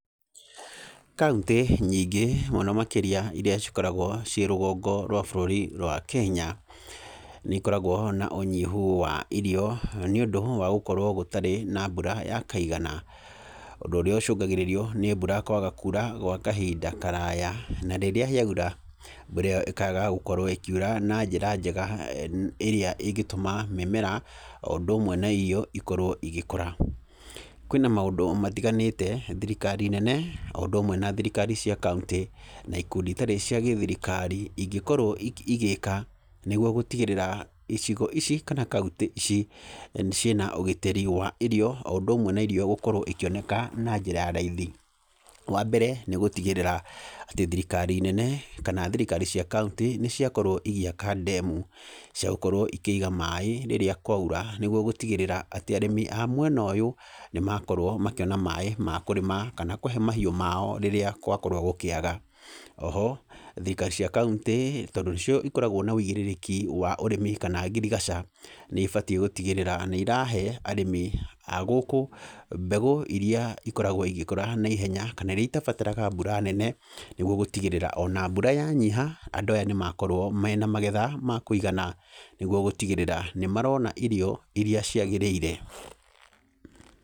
Kaũntĩ nyingĩ mũno makĩria iria cikoragwo ciĩ rũgongo rwa bũrũri rwa Kenya, nĩ ikoragwo na ũnyihu wa irio nĩ ũndũ wa gũkorwo gũtarĩ na mbura ya kaigana. Ũndũ ũrĩa ũcũngagĩrĩrio nĩ mbura kwaga kura gwa kahinda karaya, na rĩrĩa yaura, mbura ĩyo ĩkaga gũkorwo ĩkiura na njĩra njega ĩrĩa ĩngĩtũma mĩmera o ũndũ ũmwe na irio ikorwo igĩkũra. Kwĩna maũndũ matiganĩte thirikari nene o ũndũ ũmwe na thirikari cia kaũntĩ na ikundi itarĩ cia githirikari ingĩkrwo ikĩ, igĩka nĩgwo gũtigĩrĩra icigo ici kana kaũntĩ ici ciĩna ũgitĩri wa irio o ũndũ ũmwe na irio gũkorwo ikĩoneka na njĩra ya raithi. Wa mbere, nĩ gũtigĩrĩra atĩ thirikari nene kana thirikari cia kaũnti nĩ ciakorwo igĩaka ndemu, cia gũkorwo ikĩiga maaĩ rĩrĩa kwaura nĩgwo gũtigĩrĩra atĩ arĩmi a mwena ũyũ nĩ makorwo makĩona maaĩ ma kũrĩma kana kũhe mahiũ mao rĩrĩa kwakorwo gũkĩaga. Oho, thirikari cia kaũntĩ tondũ nĩcio ikoragwo na ũigĩrĩrĩki wa ũrĩmi kana ngirigaca, nĩ ĩbatiĩ gũtigĩrĩra nĩ irahe arĩmi a gũkũ mbegũ iria ikoragwo igĩkũra naihenya kana iria itabataraga mbura nene, nĩgwo gũtigĩrĩra ona mbura yanyiha andũ aya nĩ makorwo mena magetha ma kũigana, nĩgwo gũtigĩrĩra nĩ marona irio iria ciagĩrĩire.